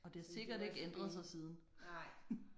Og det har sikkert ikke ændret sig siden